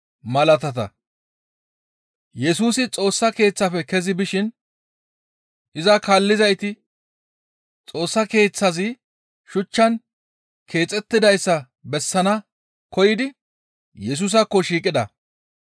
Yesusi Xoossa Keeththafe kezi bishin iza kaallizayti Xoossa Keeththazi shuchchan keexettidayssa bessana koyidi Yesusaakko shiiqida.